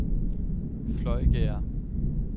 Fløjgærde